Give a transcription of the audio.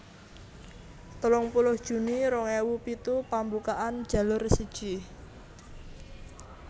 telung puluh juni rong ewu pitu pambukaan Jalur siji